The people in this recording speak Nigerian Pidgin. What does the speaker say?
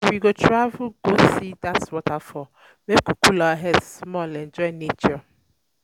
We go We go travel go see dat waterfall, make we cool our head small enjoy nature.